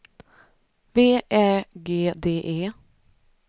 V Ä G D E